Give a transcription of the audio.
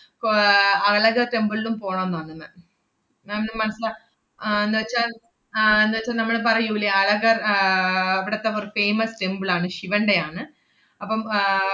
കോ~ ആഹ് അളക temple ലും പോണംന്ന്ണ്ട് ma'am, ma'am ന് മനസ്~ മ~ ആഹ് ~ന്നുവെച്ചാ ആഹ് ~ന്നുവെച്ചാ നമ്മള് പറയൂല്ലേ അളകർ ആഹ് ഇവിടത്തെ ഒരു famous temple ആണ്, ശിവന്‍റെയാണ്. അപ്പം ആഹ്